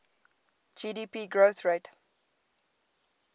gdp growth rate